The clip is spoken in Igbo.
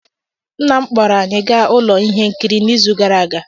Nna m kpọọrọ anyị gaa ụlọ ihe nkiri n'izu gara aga